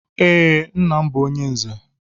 Ee, nnam bú onye nze.